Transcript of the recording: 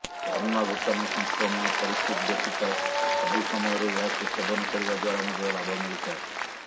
corona ଭୂତାଣୁ ସଂକ୍ରମଣ ପରିସ୍ଥିତି ବ୍ୟତୀତ ସବୁ ସମୟରେ ଏହାକୁ ସେବନ କରିବା ଦ୍ୱାରା ମଧ୍ୟ ଲାଭ ମିଳିଥାଏ